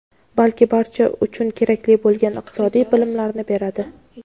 balki barcha uchun kerakli bo‘lgan iqtisodiy bilimlarni beradi.